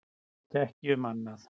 Ég veit ekki um annað.